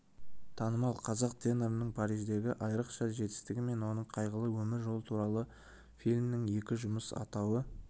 танымал қазақ тенорының париждегі айрықша жетістігі мен оның қайғылы өмір жолы туралы фильмнің екі жұмыс атауы